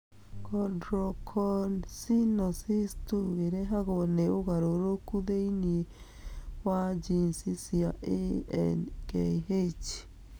Chondrocalcinosis 2 ĩrehagwo nĩ ũgarũrũku thĩinĩ wa jinici cia ANKH.